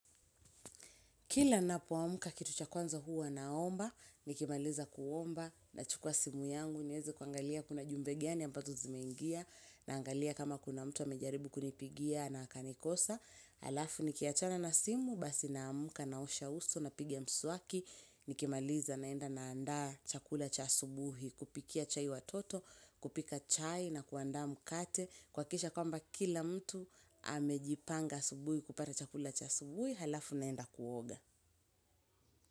Kila ninapoamka kitu cha kwanza huwa naomba, nikimaliza kuomba nachukua simu yangu, niweze kuangalia kuna ujumbe gani ambazo zimeingia, naangalia kama kuna mtu amejaribu kunipigia na akanikosa. Alafu nikiachana na simu, basi naamka na usho uso nipige mswaki, nikimaliza naenda naanda chakula cha asubuhi, kupikia chai watoto, kupika chai na kuanda mkate. Kuhakikisha kwamba kila mtu amejipanga asubuhi kupata chakula cha asubuhi alafu naenda kuoga.